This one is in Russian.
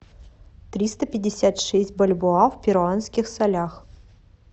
триста пятьдесят шесть бальбоа в перуанских солях